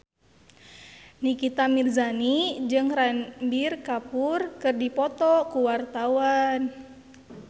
Nikita Mirzani jeung Ranbir Kapoor keur dipoto ku wartawan